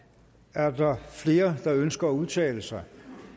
er der flere der ønsker at udtale sig